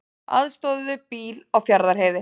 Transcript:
Aðstoðuðu bíl á Fjarðarheiði